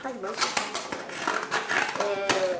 Faz muitos anos que saiu. Eh